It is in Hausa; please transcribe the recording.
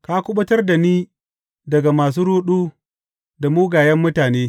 Ka kuɓutar da ni daga masu ruɗu da mugayen mutane.